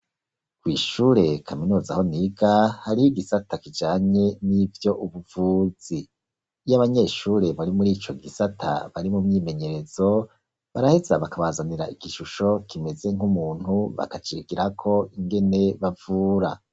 Kw'ishure kaminuza aho niga, hariho igisata kijanye nivy'ubuvuzi. Iyo abanyeshure bari muri ico gisata bari mu myimenyerezo, baraheza bakabazanira igishusho kimeze nk'umuntu, bakacirikirako ingene bavura.